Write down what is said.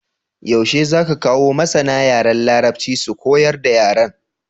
Yaushe zaka kawo masAna yaran larabci su koyar da yaran?